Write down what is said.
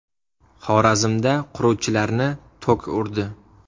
Xorazmda quruvchilarni tok urdi.